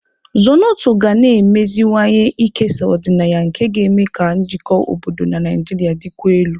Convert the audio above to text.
Zornoto ga na-emeziwanye ikesa ọdịnaya nke ga-eme ka njikọ obodo na Nigeria dịkwuo elu.